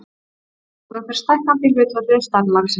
Krókurinn fer stækkandi í hlutfalli við stærð laxins.